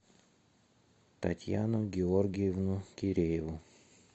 татьяну георгиевну кирееву